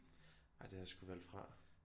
Nej det har jeg sgu valgt fra